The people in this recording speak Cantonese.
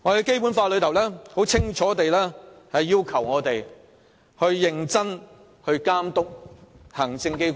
《基本法》清楚列明，議會須認真監督行政機關。